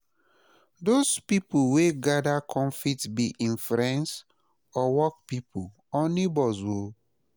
dose pipo weh gada kom fit bi em friends or work pipo or neibors o